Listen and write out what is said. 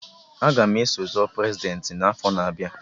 Aga m eso zọ Prezidentị n'afọ na-abịa